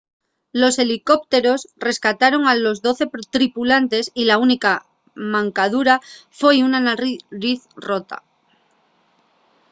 los helicópteros rescataron a los doce tripulantes y la única mancadura foi una nariz rota